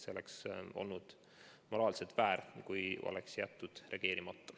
See oleks olnud moraalselt väär, kui oleks jäetud reageerimata.